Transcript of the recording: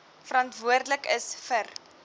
verantwoordelik is vir